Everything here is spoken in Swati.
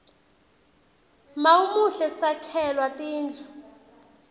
mawumuhle sakhelwa tindlu